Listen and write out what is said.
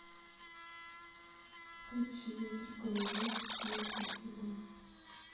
включи ветер в голове сергея трофимова